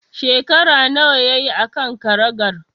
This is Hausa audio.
Shekara nawa yayi a kan karagar?